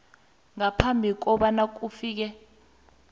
ngaphambi kobana kufike